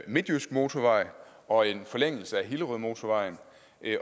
midtjysk motorvej og en forlængelse af hillerødmotorvejen